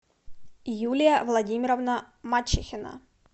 юлия владимировна мачехина